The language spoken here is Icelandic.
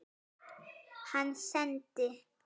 Hann sendi